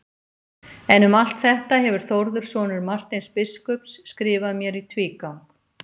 En um allt þetta hefur Þórður sonur Marteins biskups skrifað mér í tvígang.